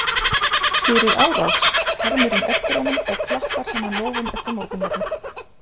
Fyrir árás? hermir hún eftir honum og klappar saman lófum eftir morgunverði.